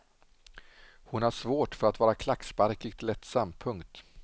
Hon har svårt för att vara klacksparkigt lättsam. punkt